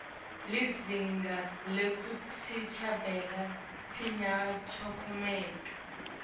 lizinga lekuticambela liyancomeka